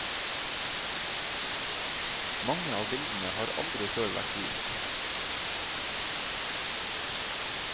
Mange av bildene har aldri før vært vist.